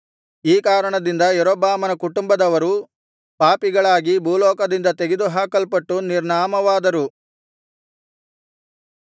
ಈ ಕಾರಣದಿಂದ ಯಾರೊಬ್ಬಾಮನ ಕುಟುಂಬದವರು ಪಾಪಿಗಳಾಗಿ ಭೂಲೋಕದಿಂದ ತೆಗೆದುಹಾಕಲ್ಪಟ್ಟು ನಿರ್ನಾಮವಾದರು